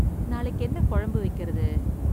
நாளைக்கு என்ன குழம்பு வெக்கறது?